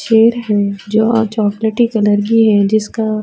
چیر ہے۔ جو chocolate colour کی ہے جسکا --